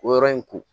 O yɔrɔ in ko